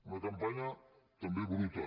una campanya també bruta